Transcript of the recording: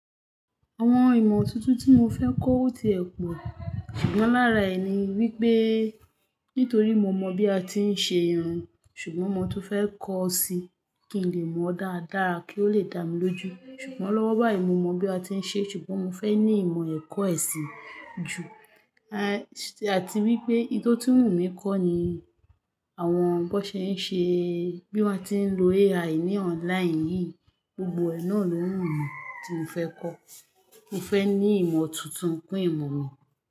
Àwọn ìmọ̀ tuntun tí mo fẹ́ kọ ó ti ẹ̀ pọ̀, ṣùgbọ́n lára ẹ̀ ni wípé nítorí mo mọ bí a ti ń ṣe irun, ṣùgbọ́n mo tún fẹ́ kọ ó si kí n lè mọ dáadáa kí ó lè dá mi lójú. Ṣùgbọ́n lọ́wọ́ báyìí mo mọ bí a ti ń ṣe, ṣùgbọ́n mo fẹ́ ní ìmọ̀ ẹ̀kọ́ ẹ̀ sì ju, a-àti wípé nto tun wu mi kò ni àwọn bó ṣe ń ṣe, bí wón ti ń lo AI ní online yìí, gbogbo ẹ̀ náà ló wù mí tí mo fẹ́ kọ́. Mo fẹ́ ní ìmọ̀ tuntun kun ìmọ̀ mi.